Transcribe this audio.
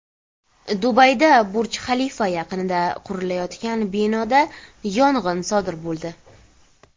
Dubayda Burj Xalifa yaqinida qurilayotgan binoda yong‘in sodir bo‘ldi.